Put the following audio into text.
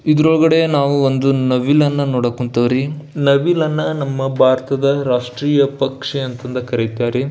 ಇದರ ಒಳಗಡೆ ನಾವು ಒಂದು ನವಿಲನ್ನ ನೋಡಕ್ ಹೊಂಥವ್ರಿ ನವಿಲನ್ನ ನಮ್ಮ ಭಾರತದ ರಾಷ್ಟ್ರೀಯ ಪಕ್ಷಿ ಅಂತ ಕರೀತೀವಿ ರೀ.